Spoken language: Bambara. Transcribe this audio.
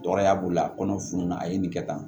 Tɔɔrɔya b'o la a kɔnɔ fununnan a ye nin kɛ tan